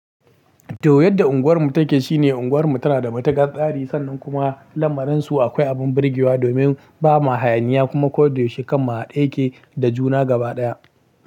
To, yadda unguwarmu take shine unguwarmu tana da matukar tsari sannan kuma lamarin su akwai abin birgewa domin ba ma hayaniya kuma ko da yaushe kan ma a haɗe yake da juna gaba ɗaya.